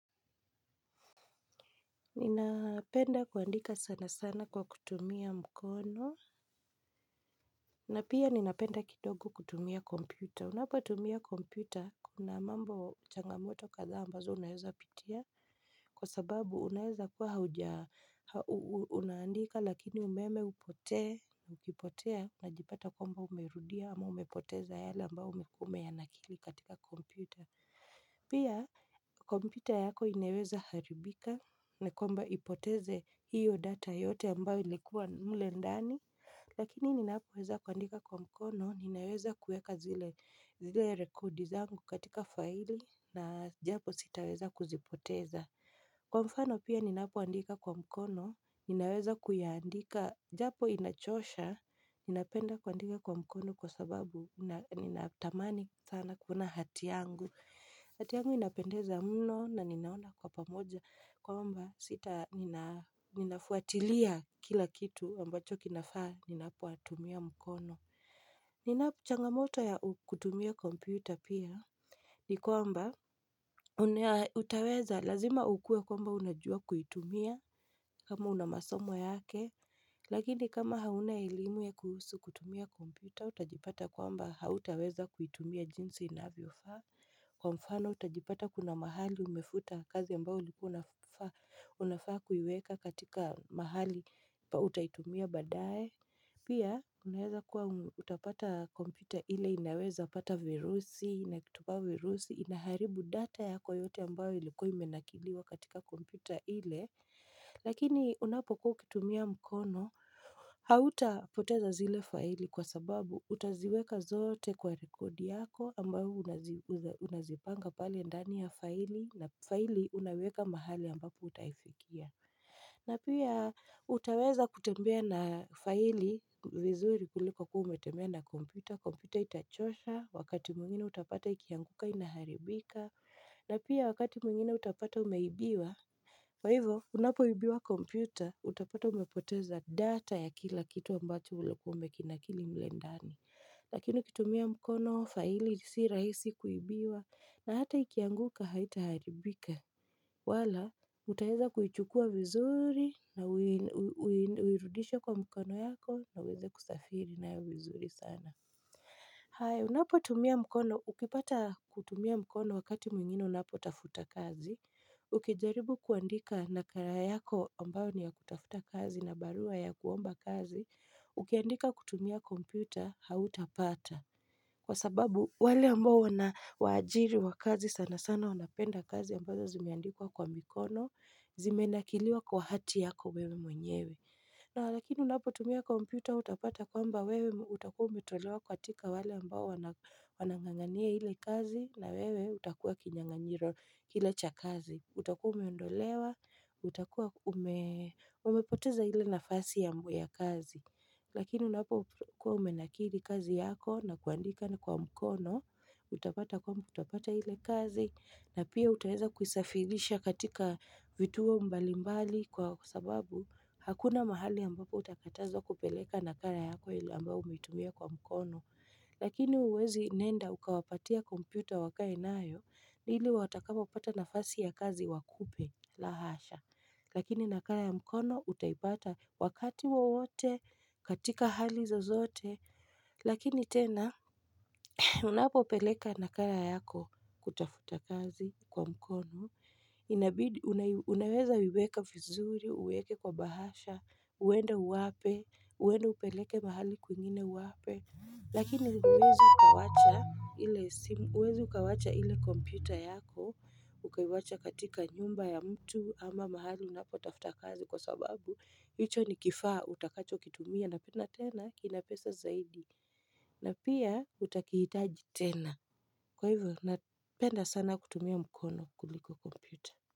Ninapenda kuandika sana sana kwa kutumia mkono na pia ninapenda kidogo kutumia kompyuta. Unapotumia kompyuta kuna mambo changamoto kadhaa ambazo unaweza pitia kwa sababu unaweza kuwa hauja, unaandika lakini umeme upotee na ukipotea unajipata kwamba umerudia ama umepoteza yale ambayo ulikuwa umeyanakili katika kompyuta Pia kompyuta yako inaweza haribika na kwamba ipoteze hiyo data yote ambayo ilikuwa mle ndani Lakini ninapoweza kuandika kwa mkono, ninaweza kuweka zile rekodi zangu katika faili na japo sitaweza kuzipoteza. Kwa mfano pia ninapoandika kwa mkono, ninaweza kuyaandika japo inachosha, ninapenda kuandika kwa mkono kwa sababu nina tamani sana kuona hati yangu hati yangu inapendeza mno na ninaona kwa pamoja kwamba sita ninafuatilia kila kitu ambacho kinafaa ninapotumia mkono. Nina changamoto ya kutumia kompyuta pia ni kwamba utaweza lazima ukuwe kwamba unajua kuitumia kama una masomo yake Lakini kama hauna elimu kuhusu kutumia kompyta utajipata kwamba hautaweza kuitumia jinsi inavyofaa. Kwa mfano utajipata kuna mahali umefuta kazi ambayo ulikuwa unafaa unafaa kuiweka katika mahali pa utaitumia baadaye. Pia unaweza kuwa utapata kompyuta ile inaweza pata virusi na kitupa virusi inaharibu data yako yote ambayo ilikuwa imenakiliwa katika kompyuta ile Lakini unapokuwa ukitumia mkono hautapoteza zile faili kwa sababu utaziweka zote kwa rekodi yako ambayo unazipanga pale ndani ya faili na faili unaweka mahali ambapo utaifikia na pia utaweza kutembea na faili vizuri kuliko kuwa umetembea na kompyuta. Kompyuta itachosha, wakati mwingina utapata ikianguka inaharibika. Na pia wakati mwngine utapata umeibiwa Kwa hivo unapoibiwa kompyuta, utapata umepoteza data ya kila kitu ambacho ulikuwa umekinakili mle ndani. Lakini ukitumia mkono faili si rahisi kuibiwa, na hata ikianguka, haita haribika. Wala, utaweza kuichukua vizuri, na uirudishe kwa mkono yako, na uweze kusafiri nayo vizuri sana. Haya unapotumia mkono, ukipata kutumia mkono wakati mwingine unapotafuta kazi. Ukijaribu kuandika nakala yako ambayo ni ya kutafuta kazi na barua ya kuomba kazi Ukiandika kutumia kompyuta hautapata kwa sababu wale ambao wanawaajiri wa kazi sana sana wanapenda kazi ambazo zimeandikwa kwa mikono Zimenakiliwa kwa hati yako wewe mwenyewe. Na lakini unapotumia kompyuta utapata kwamba wewe utakuwa umetolewa katika wale ambao wanang'ang'ania ile kazi na wewe utakuwa kinyang'anyiro kile cha kazi. Utakuwa umeondolewa, utakuwa ume umepoteza ile nafasi ya, ya kazi Lakini unapokuwa umenakili kazi yako na kuandika na kwa mkono Utapata kwamba utapata ile kazi na pia utaweza kuisafirisha katika vituo mbalimbali kwa sababu hakuna mahali ambapo utakatazwa kupeleka nakala yako ile ambayo umetumia kwa mkono Lakini huwezi nenda ukawapatia kompyuta wakae nayo ili watakapopata nafasi ya kazi wakupe, la hasha Lakini nakala ya mkono utaipata wakati wowote katika hali zozote Lakini tena unapopeleka nakala yako kutafuta kazi kwa mkono Unaweza iweka vizuri, uweke kwa bahasha, uende uwape, uende upeleke mahali kwingine uwape. Lakini huwezi ukawacha ile simu, huwezi ukawacha ile kompyuta yako, ukaiwacha katika nyumba ya mtu ama mahali unapo tafta kazi kwa sababu. Hicho ni kifaa utakacho kitumia na pia tena kina pesa zaidi. Na pia utakihitaji tena. Kwa hivyo, napenda sana kutumia mkono kuliko kompyuta.